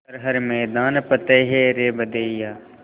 कर हर मैदान फ़तेह रे बंदेया